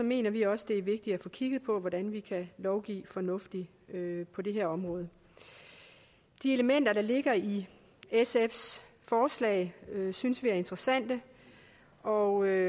mener vi også det er vigtigt at få kigget på hvordan vi kan lovgive fornuftigt på det her område de elementer der ligger i sfs forslag synes vi er interessante og